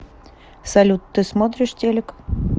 салют ты смотришь телик